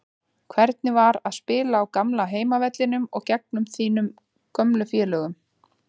Hvernig var að spila á gamla heimavellinum og gegn þínum gömlu félögum?